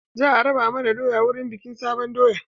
Za a raba mana doya wurin bikin sabon doya.